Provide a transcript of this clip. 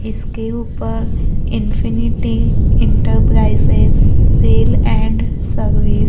इसके ऊपर infinity enterprises sale and service --